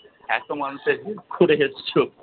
এতো মানুষের help করে এসছো।